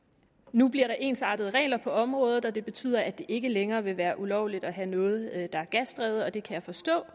nu bliver der ensartede regler på området og det betyder at det ikke længere vil være ulovligt at have noget der er gasdrevet det kan jeg forstå